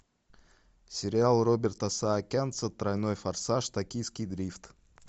сериал роберта саакянца тройной форсаж токийский дрифт